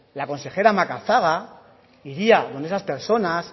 la consejera macazaga iría donde esas personas